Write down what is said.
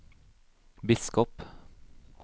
biskop